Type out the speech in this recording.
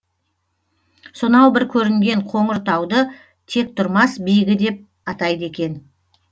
сонау бір көрінген қоңыр тауды тектұрмас биігі деп атайды екен